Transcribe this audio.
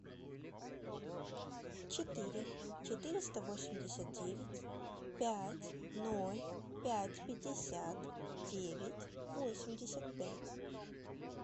четыре четыреста восемьдесят девять пять ноль пять пятьдесят девять восемьдесят пять